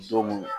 Don mun